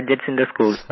gadgets in the school